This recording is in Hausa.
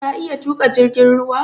Ka iya tuƙa jirgin ruwa?